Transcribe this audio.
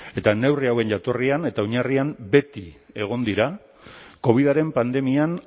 eta neurri hauen jatorrian eta oinarrian beti egon dira covidaren pandemian